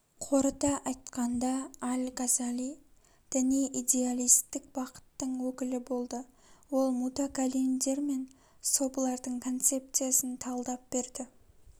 қорыта айтканда аль-газали діни идеалистік бақыттың өкілі болды ол мутакалимдер мен сопылардың концепциясын талдап берді